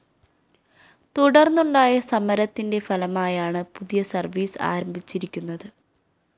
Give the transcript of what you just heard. തുടര്‍ന്നുണ്ടായ സമരത്തിന്റെ ഫലമായാണ് പുതിയ സര്‍വീസ് ആരംഭിച്ചിരിക്കുന്നത്